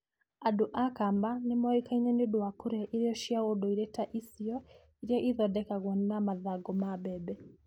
Andũ a Kamba nĩ moĩkaine nĩ ũndũ wa kũrĩa irio cia ũndũire ta isyo, iria ithondekagwo na mathangũ ma mbembe.